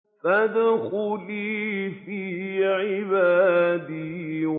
فَادْخُلِي فِي عِبَادِي